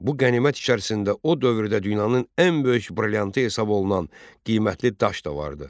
Bu qənimət içərisində o dövrdə dünyanın ən böyük brilliantı hesab olunan qiymətli daş da vardı.